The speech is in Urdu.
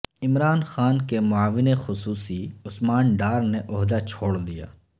عمران خان کے معاون خصوصی عثمان ڈار نے عہدہ چھوڑ دیا